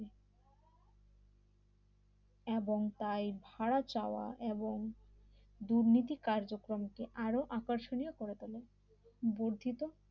এবং তাই ভাড়া চাওয়া এবং দুর্নীতি কার্যক্রমকে আরো আকর্ষণ করে তোলে বুদ্ধি তো